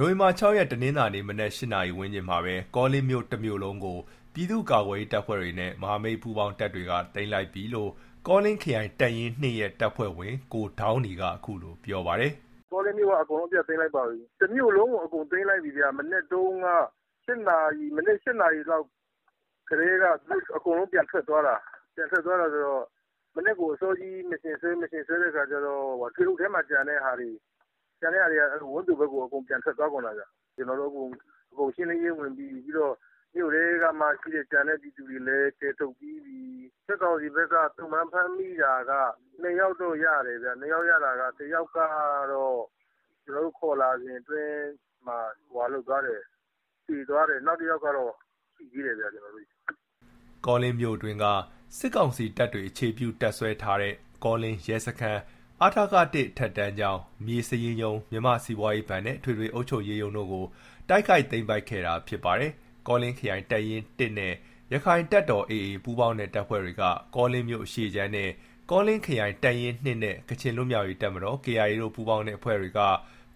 နိုဝင်ဘာ ၆ ရက် တနင်္လာနေ့ မနက် ၈ နာရီဝန်းကျင်မှာပဲ ကောလင်းမြို့ တစ်မြို့လုံးကို ပြည့်သူ့ကာကွယ်ရေး တပ်ဖွဲ့တွေနဲ့ မဟာမိတ်ပူးပေါင်းတပ်ဖွဲ့တွေက သိမ်းလိုက်ပြီလို့ ကောလင်းမြို့နယ် အနောက်ခြမ်း ပြည်သူ့အုပ်ချုပ်ရေးအဖွဲ့ သတင်းပြန်ကြားရေး တာဝန်ခံ ကိုဒေါင်းနီက ခုလိုပြောပါတယ်။ “ကောလင်းမြို့က အကုန်လုံးအပြတ်သိမ်းလိုက်ပါပြီ။ တစ်မြို့လုံးကို အကုန်သိမ်းလိုက်ပြီဗျ မနက်တုန်း က ၈ နာရီ။ မနက် ၈ နာရီလောက်ကတည်းက သူတို့ (စကစ) အကုန်လုံး ပြန်ထွက်သွားတာ။ ပြန်ထွက်သွားတာက မနက်အစောကြီး ကျွန်တော်တို့ Mission ဆွဲတော့ ထွေအုပ်ရုံးမှာ ကျန်တဲ့ဟာတွေက အကုန် ဝန်းသိုဘက်ကို အကုန်ပြန်ထွက်သွားကုန်တာဗျ။ အခု ကျွန်တော်တို့ မြို့ထဲကို အကုန် ရှင်းလင်းရေး ဝင်ပြီးပြီ။ မြို့ထဲမှာ ကျန်တဲ့သူတွေကိုလည်း အကုန်(နီးပါး) ကယ်ထုတ်ပြီးပြီ။ စစ်ကောင်စီဘက်က သုံ့ပန်း ဖမ်းမိတာက ၂ ယောက်တော့ ရတယ်ဗျ။ တစ်ယောက်က ကျွန်တော်တို့ ဖမ်းဆီးလာစဉ်အတွင်းမှာ သေသွားတယ်။ နောက်တစ်ယောက်ကတော့ ရှိသေးတယ်ဗျ ကျွန်တော်တို့ဆီမှာ။” ကောလင်းမြို့အတွင်းက စစ်ကောင်စီတပ်တွေ အခြေပြုတပ်စွဲထားတဲ့ ကောလင်းရဲစခန်း၊ အထက ၁ အထက်တန်းကျောင်း၊ မြေစာရင်းရုံး၊ မြန်မာစီးပွားရေးဘဏ်နဲ့ အထွေထွေ အုပ်ချုပ်ရေးရုံးတို့ကို တိုက်ခိုက်သိမ်းပိုက်ခဲ့တာဖြစ်ပါတယ်။ ကောလင်းခရိုင်တပ်ရင်း ၁ နဲ့ ရခိုင်တပ်တော် AA ပူးပေါင်းတဲ့ တပ်ဖွဲ့တွေက ကောလင်းမြို့အရှေ့ခြမ်းနဲ့ ကောလင်းခရိုင်တပ်ရင်း ၂ နဲ့ ကချင်လွတ်လပ်ရေးတပ်မတော် KIA တို့ ပူးပေါင်းတဲ့ အဖွဲ့က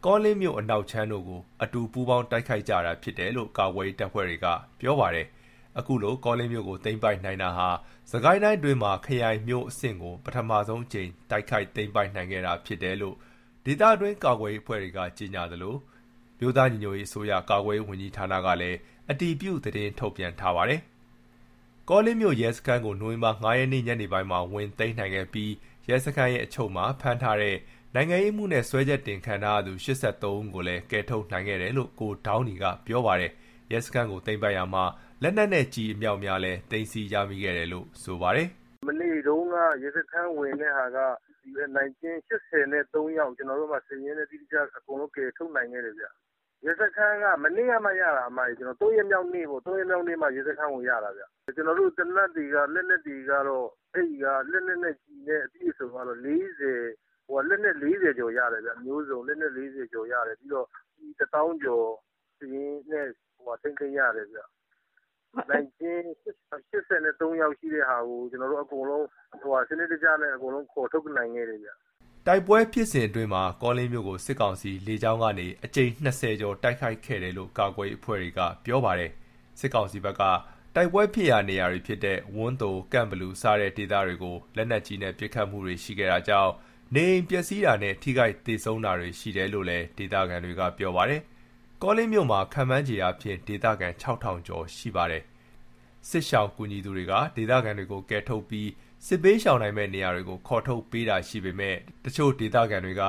ကောလင်းမြို့ အနောက်ခြမ်းတို့ကို အတူ ပူးပေါင်းတိုက်ခိုက်ခဲ့ကြတာ ဖြစ်တယ်လို့ ကာကွယ်ရေး တပ်ဖွဲ့က ပြောပါတယ်။ ခုလို ကောလင်းမြို့ကို သိမ်းပိုက်နိုင်တာဟာ စစ်ကိုင်းတိုင်းအတွင်းမှာ ခရိုင်မြို့အဆင့်ကို ပထဆုံးအကြိမ် တိုက်ခိုက်သိမ်းပိုက်နိုင်ခဲ့တာ ဖြစ်တယ်လို့ ဒေသတွင်း ကာကွယ်ရေး အဖွဲ့တွေက ကြေညာသလို အမျိုးသားညီညွတ်ရေးအစိုးရ ကာကွယ်ရေးဝန်ကြီးဌာနကလည်း အတည်ပြု သတင်းထုတ်ပြန်ပါတယ်။ ကောလင်းမြို့ ရဲစခန်းကို နိုဝင်ဘာ ၅ ရက်နေ့ ညနေပိုင်းမှာ ဝင်သိမ်းနိုင်ခဲ့ပြီး ရဲစခန်းရဲ့ အချုပ်ထဲမှာ ဖမ်းထားတဲ့ နိုင်ငံရေးအမှုနဲ့ စွဲချက်တင် ခံထားရသူ ၈၃ ဦးကိုလည်း ကယ်ထုတ်နိုင်ခဲ့တယ်လို့ ကိုဒေါင်းနီက ပြောပါတယ်။ ရဲစခန်းကို သိမ်းပိုက်ရာမှာ လက်နက်နဲ့ ကျည်အမြောက်အများလည်း သိမ်းဆည်း ရမိခဲ့တယ်လို့လည်း ပြောပါတယ်။ “မနေ့တုန်းက ရဲစခန်း ဝင်တဲ့ဟာက နိုင်ကျဉ်း ၈၃ ယောက် ကျွန်တော်တို့ စာရင်းနဲ့ တိတိကျကျ ကယ်ထုတ်နိုင်ခဲ့တယ်ဗျ။ ရဲစခန်းက မနေ့ကမှ ရတာဗျ၊ ၃ ရက်မြောက်နေ့မှ ရဲစခန်းကို ရတာဗျ။ ကျွန်တော်တို့ သေနတ်တွေက လက်နက်တွေကတော့ အဲ့ဒီက သေနတ်တွေနဲ့ လက်နက်နဲ့ ကျည်နဲ့ အပြည့်အစုံကတော့ ၄၀ကျော်ရတယ်ဗျ၊ လက်နက်အပြည့်အစုံ ၄၀ ကျော်ရတယ်။ ပြီးတော့ ကျည် ၁ သောင်းကျော် စာရင်းနဲ့ သိမ်းဆည်းရတယ်ဗျ။ နိုင်ကျဉ်း ၈၃ ယောက်ရှိတာကိုလည်း ကျွန်တော်တို့ စာရင်းနဲ့ စနစ်တကျနဲ့ အကုန်လုံး ခေါ်ထုတ်နိုင်ခဲ့တယ်ဗျ။” တိုက်ပွဲဖြစ်စဉ်အတွင်းမှာ ကောလင်းမြို့ကို စစ်ကောင်စီက လေကြောင်းကနေ အကြိမ် ၂၀ ကျော် တိုက်ခိုက်ခဲ့တယ်လို့ ကာကွယ်ရေးအဖွဲ့တွေက ပြောပါတယ်။ စစ်ကောင်စီဘက်က တိုက်ပွဲဖြစ်ရာ နေရာတွေ ဖြစ်တဲ့ ဝန်းသို၊ ကန့်ဘလူ စတဲ့ ဒေသတွေကို လက်နက်ကြီးနဲ့ ပစ်ခတ်မှုတွေရှိခဲ့တာကြောင့် နေအိမ်ပျက်စီးတာနဲ့ ထိခိုက်သေဆုံးတာတွေ ရှိတယ်လို့လည်း ဒေသခံတွေက ပြောပါတယ်။ ကောလင်းမြို့မှာ ခန့်မှန်းအားဖြင့် ဒေသခံ ၆၀၀၀ ကျော်ရှိပါတယ်။ စစ်ရှောင်ကူညီသူတွေက ဒေသခံတွေကို ကယ်ထုတ်ပြီး စစ်ဘေးရှောင်နိုင်မယ့် နေရာတွေကို ခေါ်ထုတ်ပေးနေတာရှိပေမယ့် တချို့ ဒေသခံတွေက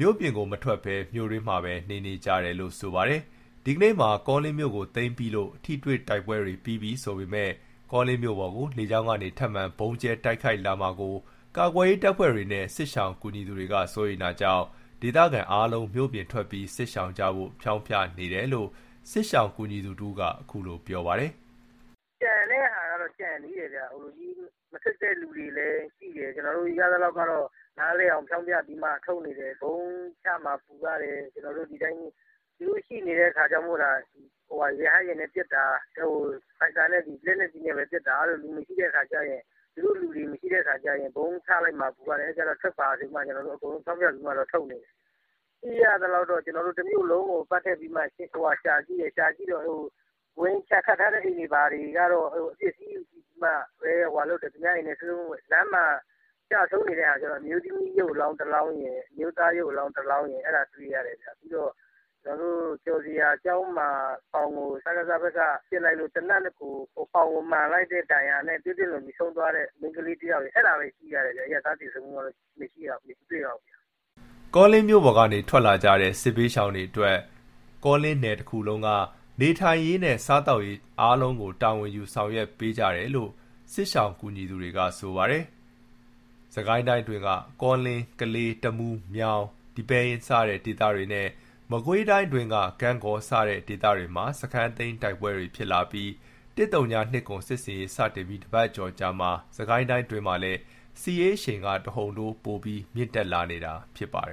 မြို့ပြင်ကို မထွက်ပဲ မြို့တွင်းမှာပဲ နေနေကြတယ်လို့ ပြောပါတယ်။ ဒီကနေ့မှာ ကောလင်းမြို့ကို သိမ်းပြီးလို့ ထိတွေ့တိုက်ပွဲတွေ ပြီးပြီဆိုပေမယ့် ကောလင်းမြို့ပေါ်ကို လေကြောင်းကနေ ထပ်မံ ဗုံးကြဲတိုက်ခိုက်လာမှာကို ကာကွယ်ရေးတပ်ဖွဲ့တွေနဲ့ စစ်ရှောင်ကူညီသူတွေ က စိုးရိမ်တာကြောင့် ဒေသခံ အားလုံးကို မြို့ပြင်ထွက်ပြီး စစ်ရှောင်ကြဖို့ ဖြောင်းဖြနေတယ်လို့ စစ်ရှောင်ကူညီသူတစ်ဦးက ခုလိုပြောပါတယ်။ “ကျန်တဲ့ဟာကတော့ ကျန်သေးတယ်ဗျ။ မထွက်ကြတဲ့သူတွေလည်း ရှိတယ်။ ကျွန်တော်တို့ နားလည်အောင် ပြောပြပြီးမှ ထုတ်နေကြတယ်။ ဗုံးချမှာ ပူရတယ်။ သူတို့(စကစ) ရှိနေတုန်းမို့သာ ရဟတ်ယာဉ်နဲ့ ပစ်တာ ဖိုက်တာက လက်နက်ကြီးနဲ့ပဲပစ်တာ။ သူတို့လူတွေ မရှိတော့တဲ့ အခါကျရင် ဗုံးချလိုက်မှာ ပူရတယ်။ အဲ့ဒါကြောင့် ထွက်ပါဆိုပြီးတော့ ကျွန်တော်တို့ အကုန်လုံးကို ဖြောင်းဖျပြီးမှ ထုတ်နေတယ်။ ကျွန်တော်တို့ လက်ရှိ တမြို့လုံးကို ပတ်ကြည့်ပြီးတော့ ရှာကြည့်ကြတယ်၊ ကြည့်တော့ ဝင်းခြံခတ်ထားတဲ့ အိမ်တွေကတော့ အပျက်အစီးလောက်ပဲ။ လမ်းမှာ သေဆုံးနေတဲ့ဟာက အမျိုးသမီး ရုပ်အလောင်းတစ်လောင်းရယ်၊ အမျိုးသား ရုပ်အလောင်းတစ်လောင်းရယ် အဲ့ဒါ တွေ့ရတယ်ဗျ။ ပြီးတော့ ကျော်ဇေယျာကျောင်းမှာ စကစ ဖက်က ပစ်လိုက်လို့ ပေါင်မှာထိပြီး သွေးထွက်လွန်ပြီး ဆုံးသွားတဲ့ မိန်းကလေးတစ်ယောက်ရယ် အဲ့ဒါလောက်ပဲ တွေ့ရတယ်ဗျ။ အရပ်သား သေဆုံးမှုကတော့ သိပ်အများကြီး မတွေ့ရပါဘူး။” ကောလင်းမြို့ပေါ်ကနေ ထွက်လာကြတဲ့ စစ်ဘေးရှောင်တွေအတွက် ကောလင်းနယ်တခုလုံးက နေထိုင်ရေး နဲ့ စားသောက်ရေး အားလုံးကို တာဝန်ယူ ဆောင်ရွက်ပေးနေကြတယ်လို့ စစ်ဘေးရှောင်ကူညီသူတွေက ပြောပါတယ်။ စစ်ကိုင်းတိုင်းအတွင်းက ကောလင်း၊ ကလေး၊ တမူး၊ မြောင်၊ ဒီပဲယင်း စတဲ့ ဒေသတွေနဲ့ မကွေးတိုင်အတွင်းက ဂန့်ဂေါ စတဲ့ ဒေသတွေမှာ စခန်းသိမ်း တိုက်ပွဲတွေ ဖြစ်လာပြီး ၁၀၂၇ စစ်ဆင်ရေး စတင်ပြီး တပတ်ကျော်အကြာမှာ စစ်ကိုင်းတိုင်းအတွင်းမှာလည်း စစ်ရေးအရှိန်က တဟုန်ထိုး ပိုပြီးမြင့်တက် လာနေတာဖြစ်ပါတယ်